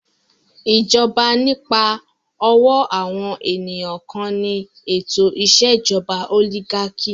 Ìjọba nípa ọ̀wọ́ àwọn ènìyàn kan ni ètò ìṣèjọba òlígákì.